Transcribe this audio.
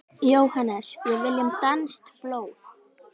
JÓHANNES: Við viljum danskt blóð!